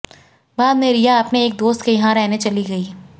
बाद में रिया अपने एक दोस्त के यहां रहने चली गईं